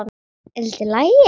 Er allt í lagi?